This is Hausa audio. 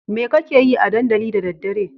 Me kakeyi a dandali da daddare?